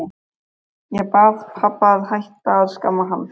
Ég bað pabba að hætta að skamma hann.